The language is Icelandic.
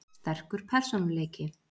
Sterkur persónuleiki.